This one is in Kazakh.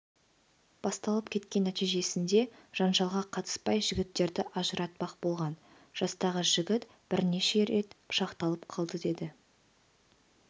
басталып кеткен нәтижесінде жанжалға қатыспай жігіттерді ажыратпақ болған жастағы жігіт бірнеше рет пышақталып қалды деді